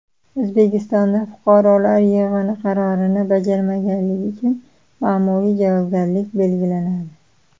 O‘zbekistonda fuqarolar yig‘ini qarorini bajarmaganlik uchun ma’muriy javobgarlik belgilanadi.